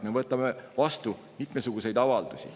Me võtame vastu mitmesuguseid avaldusi.